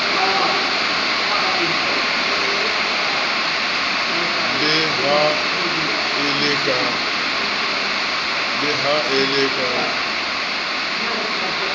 le ha e le ka